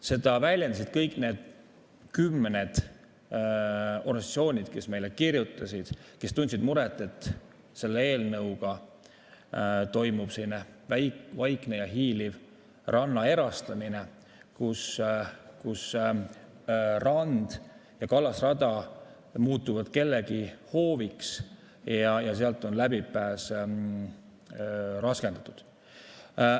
Seda väljendasid kõik need kümned organisatsioonid, kes meile kirjutasid, kes tundsid muret, et selle eelnõuga toimub vaikne ja hiiliv ranna erastamine, kus rand ja kallasrada muutuvad kellegi hooviks ja sealt on läbipääs raskendatud.